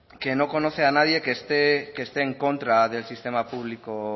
que no conoce a nadie que esté en contra del sistema público